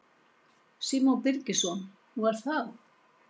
Símon Birgisson: Nú er það?